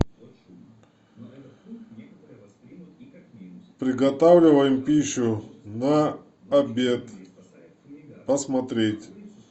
приготавливаем пищу на обед посмотреть